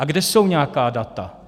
A kde jsou nějaká data?